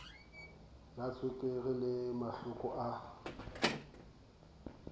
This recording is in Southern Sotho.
la tswekere le mahloko a